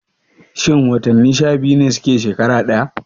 Shin watanni sha biyu ne suke shekara ɗaya?